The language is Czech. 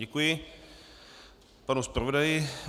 Děkuji panu zpravodaji.